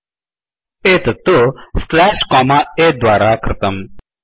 एतत्तु slash comma A द्वारा कृतम्